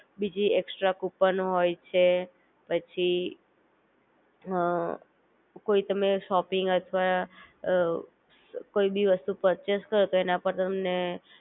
બીજી extra coupon હોય છે, પછી હ કોઈ તમે શોપિંગ અથવા કોઈ બી વસ્તુ પરચેસ કરો તો એના પર તમને